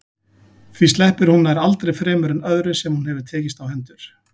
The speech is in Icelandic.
Því sleppir hún nær aldrei fremur en öðru sem hún hefur tekist á hendur.